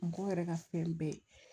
Mɔgɔw yɛrɛ ka fɛn bɛɛ